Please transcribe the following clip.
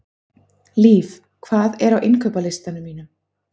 Liv, hvað er á innkaupalistanum mínum?